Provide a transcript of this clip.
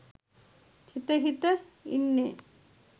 හිත හිත ඉන්නේ.